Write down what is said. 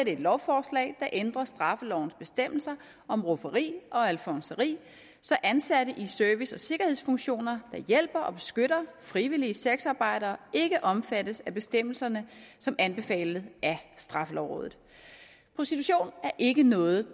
et lovforslag der ændrer straffelovens bestemmelser om rufferi og alfonseri så ansatte i service og sikkerhedsfunktioner der hjælper og beskytter frivillige sexarbejdere ikke omfattes af bestemmelserne som anbefalet af straffelovrådet prostitution er ikke noget